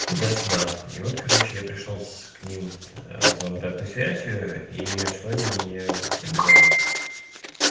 туда-сюда и вот короче я пришёл с к ним за обратной связью и что они мне говорят